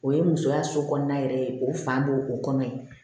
O ye musoya so kɔnɔna yɛrɛ ye o fan b'o o kɔnɔ ye